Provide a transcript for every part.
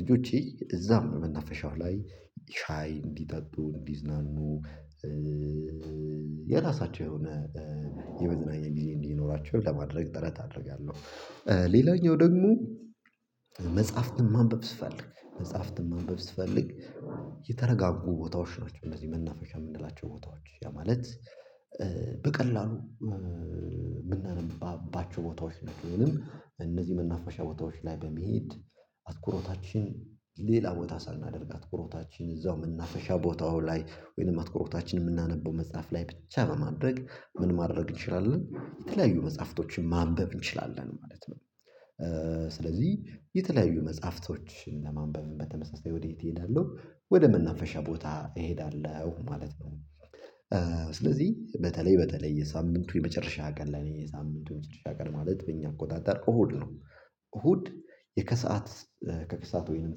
ልጆቼ እዛም በመናፈሻው ላይ ሻይ እንዲጠጡ እንዲዝናኑ የራሳቸው የሆነ የመዝናኛ እንግዲህ እንዲኖራቸው ለማድረግ ጥረት አደርጋለሁ። ሌላኛው ደግሞ መጽሐፍን ማንበብ ስፈልግ መጽሐፍን ማንበብ ስፈልግ የተረጋጉ ቦታዎች ናቸው እንደዚህ መናፈሻ የምንላቸው ቦታዎች ያ ማለት በቀላሉ የምናነባባቸው ቦታዎች ነው የሚሆነው። እነዚህ መናፈሻ ቦታዎች ላይ በሚሄድ አትኩሮታችን ሌላ ቦታ ሳናደርግ አትኩሮታችን እዛው የምናፈሻ ቦታው ላይ ወይንም አትኩሮታችን የምናነበው መጽሐፍ ላይ ብቻ በማድረግ ምን ማድረግ እንችላለን የተለያዩ መጽሐፍቶችን ማንበብ እንችላለን ማለት ነው። ስለዚህ የተለያዩ መጽሐፍቶችን ለማንበብ በተመሳሳይ ወዴት እሄዳለሁ ወደ መናፈሻ ቦታ እሄዳለሁ ማለት ነው። ስለዚህ በተለይ በተለይ የሳምንቱ የመጨረሻ ቀን ለኔ የሳምንቱ የመጨረሻ ቀን ማለት በእኛ አቆጣጠር እሁድ ነው። እሁድ የከሰአት ከክሳት ወይንም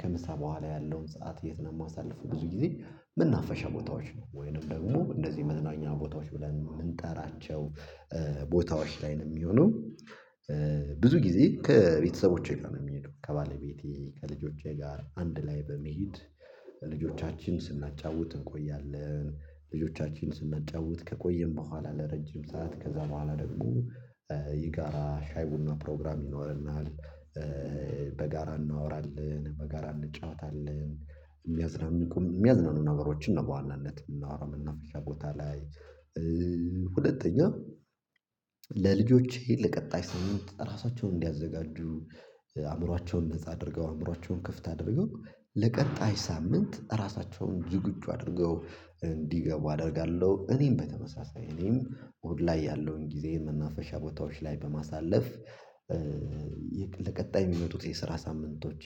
ከምሳ በኋላ ያለውን ሰዓት የት ነው የማሳልፈው ብዙ ጊዜ ምን አፈሻ ቦታዎች ነው ወይንም ደግሞ እንደዚህ መድናኛ ቦታዎች ብለን የምንጠራቸው ቦታዎች ላይ ነው የሚሆነው። ብዙ ጊዜ ከቤተሰቦቼ ጋር ነው የሚሄደው ከባለቤቴ ከልጆቼ ጋር አንድ ላይ በመሄድ ልጆቻችን ስናጫውት እንቆያለን ልጆቻችን ስናጫውት ከቆየን በኋላ ለረጅም ሰዓት ከዛ በኋላ ደግሞ ይጋራ ሻይ ቡና ፕሮግራም ይኖርናል። በጋራ እናወራለን በጋራ እንጫወታለን የሚያዝናን የሚቆም የሚያዝናኑ ነገሮችን ነው በዋናነት የምናወራው እና ፍሻ ቦታ ላይ። ሁለተኛ ለልጆቼ ለቀጣይ ስምምት ራሳቸውን እንዲያዘጋጁ አእምሮአቸውን ነፃ አድርገው አእምሮአቸውን ክፍት አድርገው ለቀጣይ ሳምንት ራሳቸውን ዝግጁ አድርገው እንዲገቡ አደርጋለሁ እኔም በተመሳሳይ እኔም ኦድ ላይ ያለውን ጊዜ የመናፈሻ ቦታዎች ላይ በማሳለፍ። ለቀጣይ የሚመጡት የስራ ሳምንቶቼ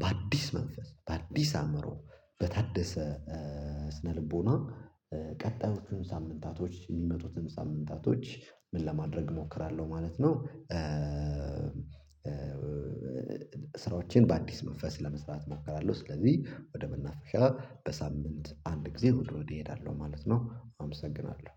በአዲስ መንፈስ በአዲስ አእምሮ በታደሰ ስነልቦና ቀጣዮቹን ሳምንታቶች የሚመጡትን ሳምንታቶች ምን ለማድረግ እሞክራለሁ ማለት ነው። ስራዎቼን በአዲስ መንፈስ ለመስራት እሞክራለሁ ስለዚህ ወደ መናፍሻ በሳምንት አንድ ጊዜ እሁድ እሁድ እሄዳለሁ ማለት ነው። አመሰግናለሁ